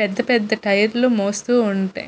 పెద్ద పెద్ద టైర్ లు మోస్తూ ఉంటాయ్.